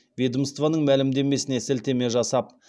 ведомствоның мәлімдемесіне сілтеме жасап